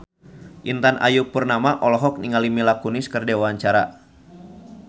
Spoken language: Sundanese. Intan Ayu Purnama olohok ningali Mila Kunis keur diwawancara